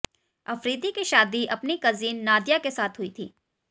अफरीदी की शादी अपनी कजिन नादिया के साथ हुई थी